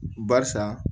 Barisa